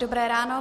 Dobré ráno.